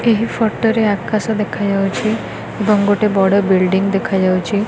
ଏହି ଫଟୋ ରେ ଆକାଶ ଦେଖାଯାଉଛି ଏବଂ ବଡ଼ ବିଲିଡ଼ିଂ ଦେଖାଯାଉଛି।